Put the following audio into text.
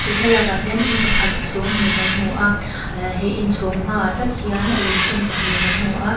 thlalâkah hian in pakhat chhâwng hnih kan hmu a ah he inchhâwng hmaah tak hian lungphun pahnih kan hmu a.